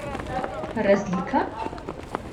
Razlika?